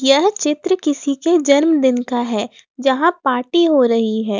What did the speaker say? यह चित्र किसी के जन्मदिन का है यहां पार्टी हो रही है।